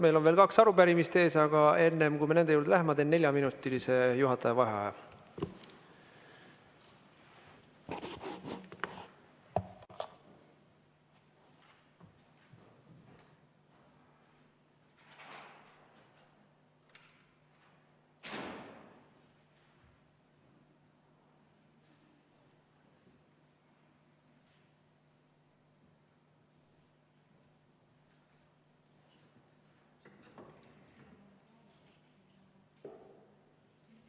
Meil on veel kaks arupärimist ees, aga enne, kui me nende juurde läheme, ma teen neljaminutilise juhataja vaheaja.